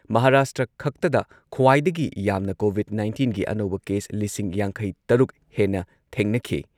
ꯃꯍꯥꯔꯥꯥꯁꯇ꯭ꯔꯈꯛꯇꯗ ꯈ꯭ꯋꯥꯏꯗꯒꯤ ꯌꯥꯝꯅ ꯀꯣꯚꯤꯗ ꯅꯥꯏꯟꯇꯤꯟꯒꯤ ꯑꯅꯧꯕ ꯀꯦꯁ ꯂꯤꯁꯤꯡ ꯌꯥꯡꯈꯩ ꯇꯔꯨꯛ ꯍꯦꯟꯅ ꯊꯦꯡꯅꯈꯤ ꯫